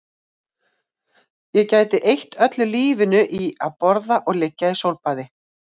Ég gæti eytt öllu lífinu í að borða og liggja í sólbaði